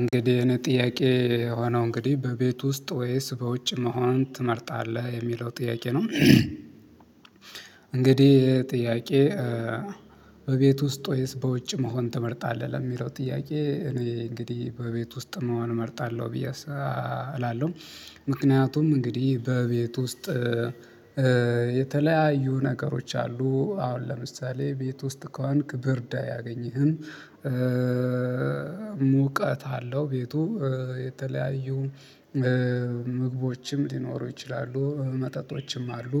እንግዲህ የኔ ጥያቄ የሆነው እንግዲህ በቤት ውስጥ ወይስ በውጭ መሆን ትመርጣለህ የሚለው ጥያቄ ነው? እንግዲህ ጥያቄ በቤት ውስጥ ወይስ በውጭ መሆን ትመርጣለህ ለሚለው ጥያቄ እኔ እንግዲህ በቤት ውስጥ መሆን እመርጣለሁ ብዬ እላለሁ። ምክንያቱም እንግዲህ በቤት ውስጥ የተለያዩ ነገሮች አሉ አሁን ለምሳሌ ቤት ውስጥ ከሆንክ ብርድ አያገኝህም። ሙቀት አለው ቤቱ የተለያዩ ምግቦችም ሊኖሩ ይችላሉ መጠጦችም አሉ።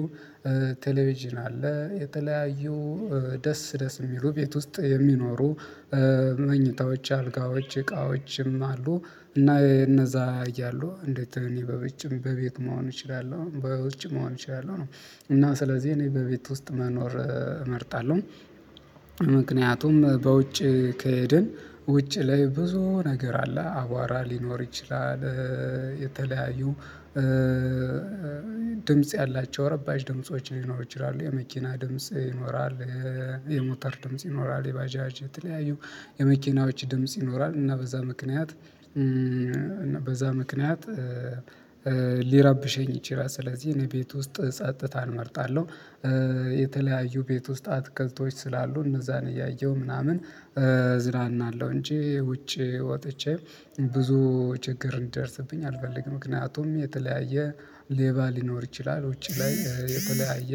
ቴሌቪዥን አለ የተለያዩ ደስ ደስ የሚሉ ቤት ውስጥ የሚኖሩ መኝታዎች አልጋዎች እቃዎችም አሉ። እና እነዛ እያሉ እንዴት እኔ በውጭም በቤት መሆን እችላለሁ በውጭ መሆን እችላለሁ ነው። እና ስለዚህ እኔ በቤት ውስጥ መኖር እመርጣለሁ። ምክንያቱም በውጭ ከሄድን ውጭ ላይ ብዙ ነገር አለ አቧራ ሊኖር ይችላል። የተለያዩ ድምጽ ያላቸው ረባሽ ድምጾች ሊኖሩ ይችላሉ የመኪና ድምጽ ይኖራል። የሞተር ድምጽ ይኖራል የባጃጅ የተለያዩ የመኪናዎች ድምጽ ይኖራል እና በዛ ምክንያት እና በዛ ምክንያት ሊረብሸኝ ይችላል ስለዚህ እኔ ቤት ውስጥ ጸጥታን እመርጣለሁ። የተለያዩ ቤት ውስጥ አትክልቶች ስላሉ እነዛን እያየሁ ምናምን እዝራናለሁ እንጂ ውጪ ወጥቼ ብዙ ችግር እንዲደርስብኝ አልፈልግም። ምክንያቱም የተለያየ ሌባ ሊኖር ይችላል ውጪ ላይ የተለያየ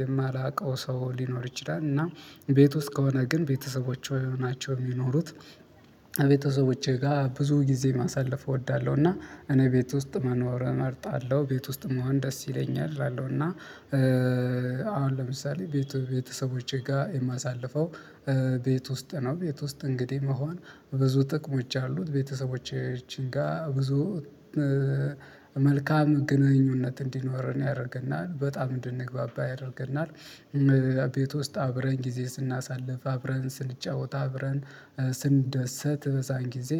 የማላውቀው ሰው ሊኖር ይችላል። እና ቤት ውስጥ ከሆነ ግን ቤተሰቦቼ ናቸው የሚኖሩት ቤተሰቦቼ ጋር ብዙ ጊዜ ማሳለፍ እወዳለሁ። እና እኔ ቤት ውስጥ መኖር እመርጣለሁ ቤት ውስጥ መሆን ደስ ይለኛል እላለሁ። እና አሁን ለምሳሌ ቤቱ ቤተሰቦቼ ጋር የማሳልፈው ቤት ውስጥ ነው። ቤት ውስጥ እንግዲህ መሆን ብዙ ጥቅሞች አሉት ቤተሰቦቻችን ጋር ብዙ መልካም ግንኙነት እንዲኖርን ያደርገናል በጣም እንድንግባባ ያደርገናል። ቤት ውስጥ አብረን ጊዜ ስናሳልፍ አብረን ስንጫወት አብረን ስንደሰት በዛን ጊዜ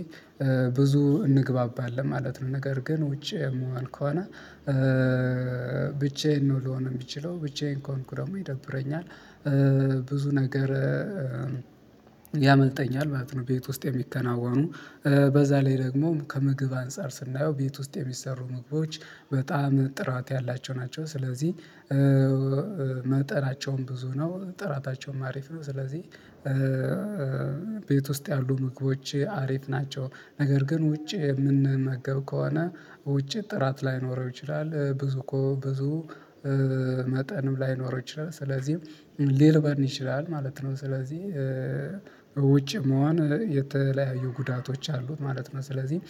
ብዙ እንግባባለን ማለት ነው። ነገር ግን ውጪ የምሆን ከሆነ ብቻዬን ነው ልሆን የምችለው ብቻዬን ከሆንኩ ደግሞ ይደብረኛል። ብዙ ነገር ያመልጠኛል ማለት ነው። ቤት ውስጥ የሚከናወኑ በዛ ላይ ደግሞ ከምግብ አንፃር ስናየው ቤት ውስጥ የሚሰሩ ምግቦች በጣም ጥራት ያላቸው ናቸው። ስለዚህ መጠናቸውም ብዙ ነው ጥራታቸውም አሪፍ ነው። ስለዚህ ቤት ውስጥ ያሉ ምግቦች አሪፍ ናቸው። ነገር ግን ውጪ የምንመገብ ከሆነ ውጪ ጥራት ላይኖረው ይችላል ብዙ እኮ ብዙ መጠንም ላይኖረው ይችላል ስለዚህም ሊርበን ይችላል ማለት ነው። ስለዚህ ውጭ መሆን የተለያዩ ጉዳቶች አሉት ማለት ነው። ስለዚህ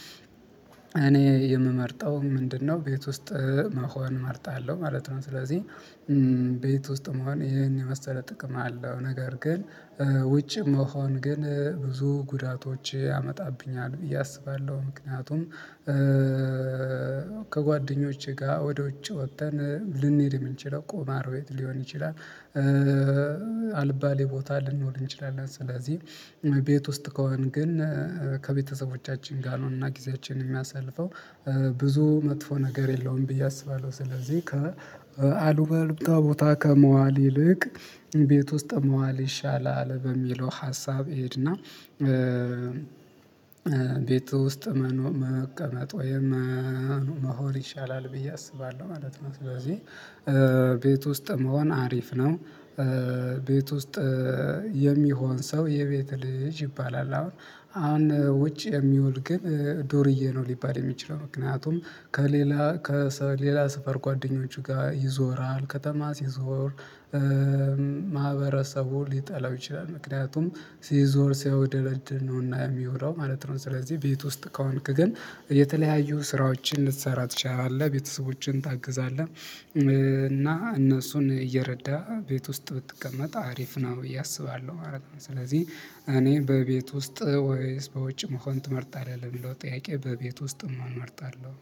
እኔ የምመርጠው ምንድነው ቤት ውስጥ መሆን እመርጣለሁ ማለት ነው። ስለዚህ ቤት ውስጥ መሆን ይሄን የመሰለ ጥቅም አለው ነገር ግን ውጭ መሆን ግን ብዙ ጉዳቶች ያመጣብኛል ብዬ አስባለሁ። ምክንያቱም ከጓደኞቼ ጋር ወደ ውጭ ወጥተን ልንሄድ የምንችለው ቁማር ቤት ሊሆን ይችላል። አልባሌ ቦታ ልንኖር እንችላለን ስለዚህ ቤት ውስጥ ከሆን ግን ከቤተሰቦቻችን ጋር ነው እና ጊዜያችንን የምናያሳልፈው ብዙ መጥፎ ነገር የለውም ብዬ አስባለሁ። ስለዚህ ከአሉባልታ ቦታ ከመዋል ይልቅ ቤት ውስጥ መዋል ይሻላል በሚለው ሀሳብ እሄድና ቤት ውስጥ መቀመጥ ወይም መሆን ይሻላል ብዬ አስባለሁ ማለት ነው። ስለዚህ ቤት ውስጥ መሆን አሪፍ ነው። ቤት ውስጥ የሚሆን ሰው የቤት ልጅ ይባላል። አሁን ውጭ የሚውል ግን ዶርዬ ነው ሊባል የሚችለው ምክንያቱም ከሌላ ከሌላ ሰፈር ጓደኞቹ ጋር ይዞራል ከተማ ሲዞር ማህበረሰቡ ሊጠላው ይችላል። ምክንያቱም ሲዞር ሲያውደለድል ነውና የሚወለው ማለት ነው። ስለዚህ ቤት ውስጥ ከሆንክ ግን የተለያዩ ስራዎችን ልትሰራ ትችላለህ ቤተሰቦችን ታግዛለህ እና እነሱን እየረዳ ቤት ውስጥ ብትቀመጥ አሪፍ ነው ብዬ አስባለሁ ማለት ነው። ስለዚህ እኔ በቤት ውስጥ ወይስ በውጭ መሆን ትመርጣለህ እንደው ጥያቄ በቤት ውስጥ መሆን እመርጣለሁ